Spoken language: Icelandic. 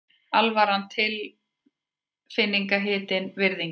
Alvaran tilfinningahitinn, virðingin.